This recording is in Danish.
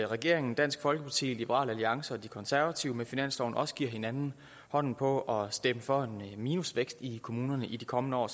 regeringen dansk folkeparti liberal alliance og de konservative med finansloven også giver hinanden hånden på at stemme for en minusvækst i kommunerne i de kommende år